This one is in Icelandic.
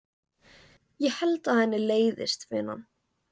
Ég held að henni leiðist vinnan.